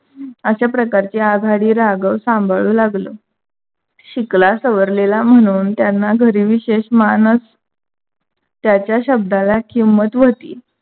अश्या प्रकारच्या आघाडी राघव सांभाळू लागला. शिकला सवरलेला म्हणून त्यांना घरी विशेष मान अस. त्याच्या शब्दाला किंमत होती. अश्या प्रकारची आघाडी राघव सांभाळू लागलो.